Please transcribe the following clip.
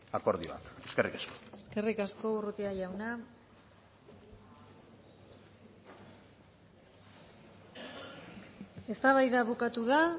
akordioa eskerrik asko eskerrik asko urrutia jauna eztabaida bukatu da